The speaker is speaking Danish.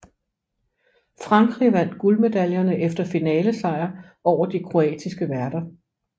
Frankrig vandt guldmedaljerne efter finalesejr over de kroatiske værter